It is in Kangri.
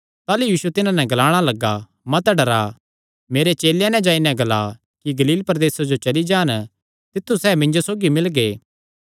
ताह़लू यीशु तिन्हां नैं ग्लाणा लग्गा मत डरा मेरे चेलेयां नैं जाई नैं ग्ला कि गलील प्रदेसे जो चली जान तित्थु सैह़ मिन्जो सौगी मिलगे